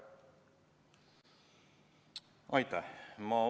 Aitäh!